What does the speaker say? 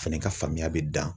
Fɛnɛ ka faamuya be dan